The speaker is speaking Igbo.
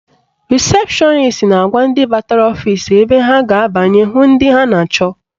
Rịsepshọnis na-agwa ndị batara ọfisi ebe ha ga-abanye hụ ndị ha na-achọ